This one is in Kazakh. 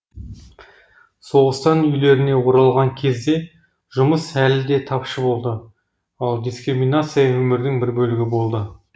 соғыстан үйлеріне оралған кезде жұмыс әлі де тапшы болды ал дискриминация өмірдің бір бөлігі болды